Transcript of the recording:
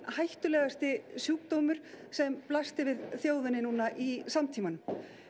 hættulegasti sjúkdómur sem blasti við þjóðinni nú í samtímanum